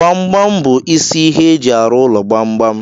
Gbam gbam bụ isi ihe e ji arụ ụlọ gbam gbam.